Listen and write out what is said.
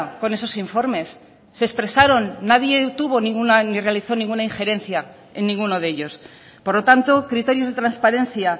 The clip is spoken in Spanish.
con esos informes se expresaron nadie tuvo ninguna ni realizo ninguna injerencia en ninguno de ellos por lo tanto criterios de transparencia